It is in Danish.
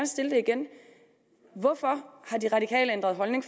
stille det igen hvorfor har de radikale ændret holdning